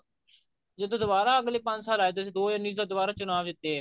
ਜਦੋਂ ਦਵਾਰਾ ਅਗਲੇ ਪੰਜ ਸਾਲ ਆਏ ਦੋ ਵਾਰੀ ਦੁਬਾਰਾ ਚੁਣਾਵ ਜਿੱਤੇ